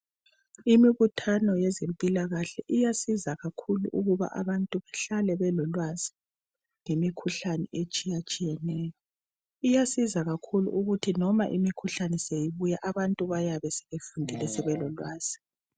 Imibuthano yezimpilakahle iyasiza kakhulu abantu ukuba behlale belolwazi lemikhuhlane etshiyetshiyeneyo , iyasiza kakhulu ukuthi noma imikhuhlane sibuya abantu bayabe aebefundile sebelolwazi